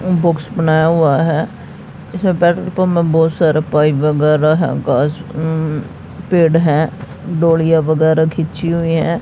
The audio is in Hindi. और बॉक्स बनाया हुआ है इसमें पेट्रोल पंप में बहोत सारा पाइप वगैरह है गाइस मम पेड़ है वगैरह खींची हुई है।